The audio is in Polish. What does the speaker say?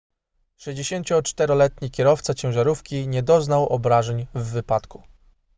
64-letni kierowca ciężarówki nie doznał obrażeń w wypadku